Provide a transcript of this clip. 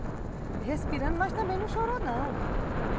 E respirando, mas também não chorou, não.